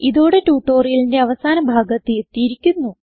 ഇതോടെ ട്യൂട്ടോറിയലിന്റെ അവസാന ഭാഗത്ത് എത്തിയിരിക്കുന്നു